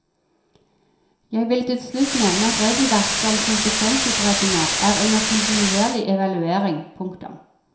Jeg vil til slutt nevne at regelverket om konsekvensutredninger er under kontinuerlig evaluering. punktum